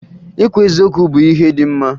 Ikwu eziokwu bụ ihe dị mma